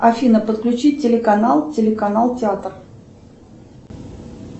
афина подключить телеканал телеканал театр